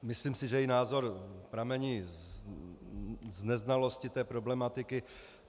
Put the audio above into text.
Myslím si, že její názor pramení z neznalosti té problematiky.